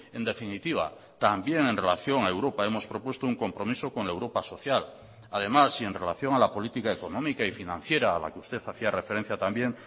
en definitiva también en relación a europa hemos propuesto un compromiso con la europa social además y en relación a la política económica y financiera a la que usted hacía referencia también